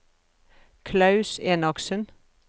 Klaus Enoksen